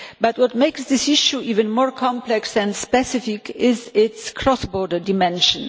But what makes this issue even more complex and specific is its cross-border dimension.